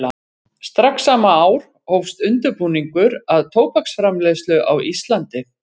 Strax sama ár hófst undirbúningur að tóbaksframleiðslu á Íslandi.